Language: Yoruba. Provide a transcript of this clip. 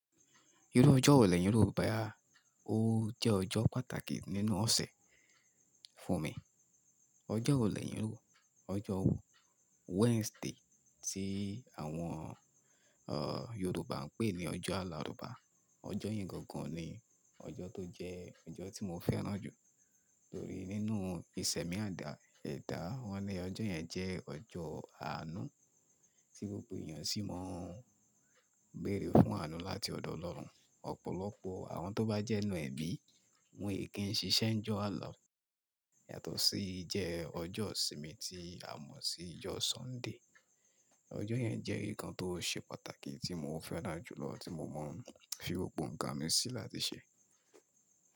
Irú ọjọ́ wo leyin ro boya? Ó jẹ́ ọjọ́ pàtàkì nínú ọ̀sẹ̀ fún mi. Ọjọ́ wo lẹ́yìn Yorùbá? Ọjọ́ wo, Wednesday tí àwọn, àh, Yorùbá ń pè ní Ọjọ́ Àlarùbá. Ọjọ́ yí gangan ni ọjọ́ tó jẹ́ ọjọ́ tí mo fẹ́ràn jù torí nínú bí sẹ̀mí àdá, ẹ̀dá wọ́n ní ọjọ́ yẹn jẹ́ ọjọ́ àánú tí gbogbo èyàn sì mọ ń béèrè fún àánú láti ọ̀dọ̀ Ọlọ́run. Ọ̀pọ̀lọpọ̀ àwọn tó bá jẹ́ inú ẹ̀bi wọn kì ṣiṣẹ́ ńjọ́ Àlà yàtọ̀ sí jẹ ọjọ́ ìsinmi tí a mọ̀ sí ọjọ́ Sunday. Ọjọ́ yẹn jẹ́ èyí kan tó ṣe pàtàkì tí mo fẹ́ràn jùlọ tí mo máa ń fi ròpò ǹkan mi sí láti ṣe.